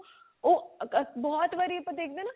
ਉਹ ਅਗ ਬਹੁਤ ਵਾਰੀ ਆਪਾਂ ਦੇਖਦੇ ਹਾਂ ਨਾਂ